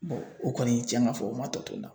Bɔn o kɔni cɛn ka fɔ o ma tɔ to n na